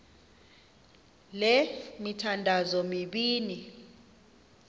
le mithandazo mibini